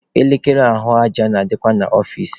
Elekere ahụ aja na-adịkwa n'ọfici.